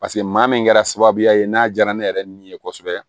Paseke maa min kɛra sababuya ye n'a diyara ne yɛrɛ ni ye kosɛbɛ